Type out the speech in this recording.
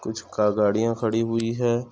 कुछ का-- गाड़ियां खड़ी हुई है।